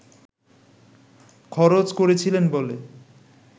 খরচ করেছিলেন বলে